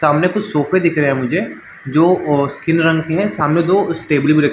सामने कुछ सोफे दिख रहै है मुझे जो अ स्किन रंग के है सामने दो स्टेबली भी रख--